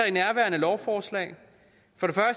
i nærværende lovforslag for